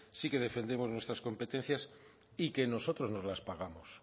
sí que defendemos nuestras competencias y que nosotros nos las pagamos